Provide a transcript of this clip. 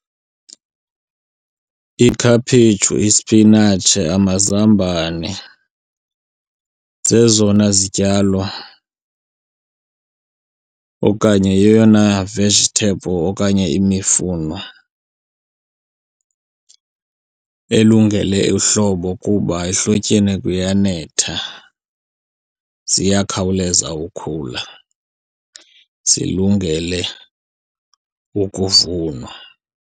Ikhaphetshu, ispinatshi, amazambane zezona zityalo okanye yeyona vegetable okanye imifuno elungele uhlobo kuba ehlotyeni kuyanetha, ziyakhawuleza ukhula zilungele ukuvunwa.